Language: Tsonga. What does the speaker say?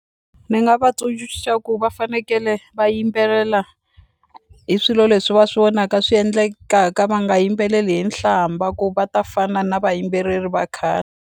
Ni nga va ku va fanekele va yimbelela hi swilo leswi va swi vonaka swi endlekaka va nga yimbeleli hi nhlamba ku va ta fana na vayimbeleri va khale.